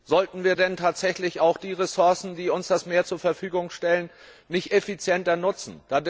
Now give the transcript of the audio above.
Sollten wir denn tatsächlich auch die Ressourcen, die uns das Meer zur Verfügung stellt, nicht effizienter nutzen?